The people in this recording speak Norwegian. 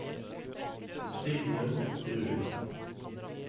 Sigmund Bruun